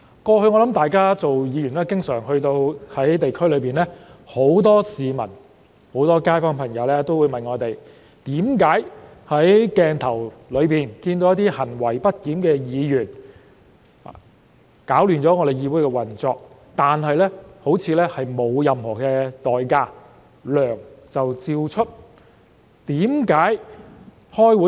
過往擔任議員時，我相信大家經常也會在地區遇到很多市民和街坊朋友，他們會詢問為何在鏡頭下看到那些行為不檢的議員攪亂了議會運作，但他們又像不用承擔任何代價，仍可如常收取薪酬？